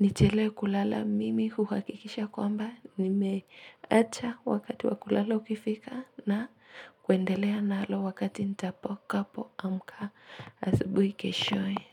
Nichelewe kulala mimi uhakikisha kwamba nimeacha wakati wakulala ukifika na kwendelea nalo wakati nitapo kapo amka asubuhi keshoe.